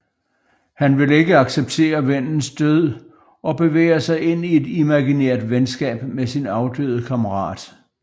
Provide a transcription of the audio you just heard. Han vil ikke acceptere vennens død og bevæger sig ind i et imaginært venskab med sin afdøde kammerat